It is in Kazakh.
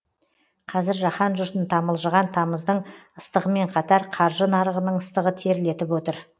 қазір жаһан жұртын тамылжыған тамыздың ыстығымен қатар қаржы нарығының ыстығы терлетіп отыр